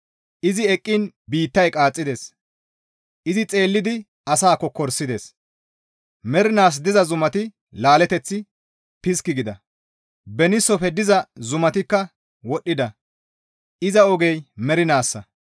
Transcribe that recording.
Izi eqqiin biittay qaaxxides; izi xeellidi asaa kokkorisides; Mernaas diza zumati laaleteth piski gida; Beniisofe diza zumatikka woddida; Iza ogey mernaassa.